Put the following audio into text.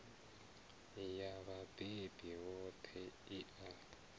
ya vhabebi vhoṱhe i a